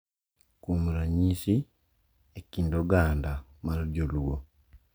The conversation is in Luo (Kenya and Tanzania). Kuom ranyisi, e kind oganda mar joluo,